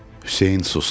Hüseyn sustu.